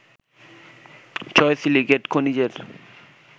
ছয় সিলিকেট খনিজের